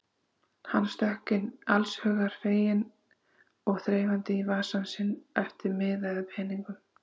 Hann stökk inn allshugar feginn og þreifaði í vasa sinn eftir miða eða peningum.